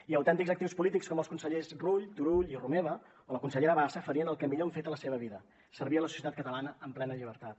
i autèntics actius polítics com els consellers rull turull i romeva o la consellera bassa farien el que millor han fet a la seva vida servir a la societat catalana en plena llibertat